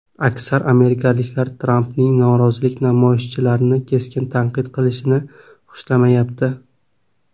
Aksar amerikaliklar Trampning norozilik namoyishchilarini keskin tanqid qilishini xushlamayapti.